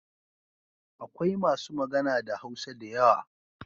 Akwai masu magana da Hausa da yawa.